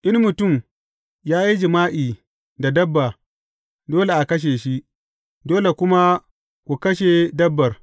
In mutum ya yi jima’i da dabba, dole a kashe shi, dole kuma ku kashe dabbar.